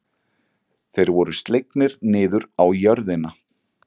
Þeir voru slegnir niður á jörðina.